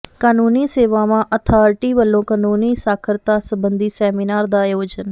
ਕਾਨੂੰਨੀ ਸੇਵਾਵਾਂ ਅਥਾਰਟੀ ਵਲੋਂ ਕਾਨੂੰਨੀ ਸਾਖਰਤਾ ਸਬੰਧੀ ਸੈਮੀਨਾਰ ਦਾ ਆਯੋਜਨ